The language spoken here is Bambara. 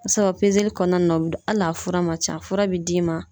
Sabu kɔnɔna na u be hali a fura man ca , a fura be d'i ma.